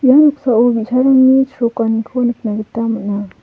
ia noksao bi·sarangni chrokaniko nikna gita man·a.